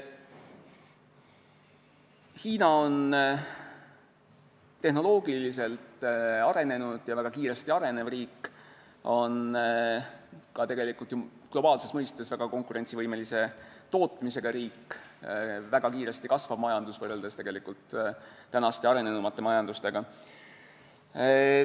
Hiina on tehnoloogiliselt arenenud ja väga kiiresti arenev riik, ta on ka globaalses mõistes väga konkurentsivõimelise tootmisega riik, väga kiiresti kasvav majandus võrreldes tänaste arenenumate majandustega.